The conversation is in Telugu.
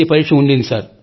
పరీక్ష ఉండింది సార్